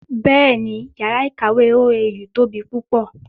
Bẹ́ẹ̀ni, yàrá ìkàwé OAU tóbi púpọ̀